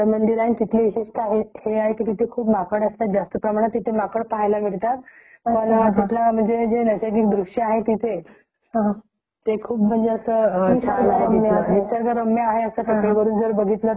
ते खूप म्हणजे छान आहे तिथे म्हणजे निसर्गरम्य आहे तिथे टेकडी वरून जर बघितलं तर खूप छोटे छोटे असे झाड दिसतात अगदी माणूसही . तिथे असा चिमुकला झालेला सारखा मुंगी सारखा दिसताओ तो बघण्याचा तिथला एक फोटोग्राफी जर केलं तर ते एक वेगळं बघण्यात येत . हम्म .